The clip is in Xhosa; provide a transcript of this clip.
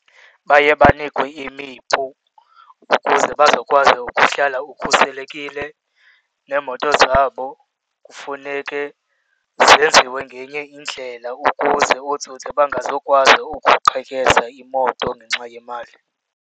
Baye banikwe imipu ukuze bazokwazi ukuhlala ukhuselekile. Neemoto zabo kufuneke zenziwe ngenye indlela ukuze ootsotsi bangazukwazi ukuqhekeza imoto ngenxa yemali.